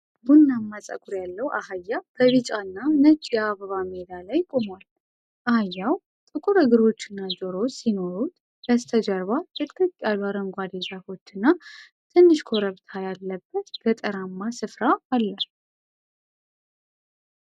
ቡናማ ፀጉር ያለው አህያ በቢጫና ነጭ የአበባ ሜዳ ላይ ቆሟል። አህያው ጥቁር እግሮችና ጆሮዎች ሲኖሩት፣ በስተጀርባ ጥቅጥቅ ያሉ አረንጓዴ ዛፎችና ትንሽ ኮረብታ ያለበት ገጠራማ ስፍራ አለ።